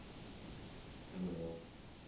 нло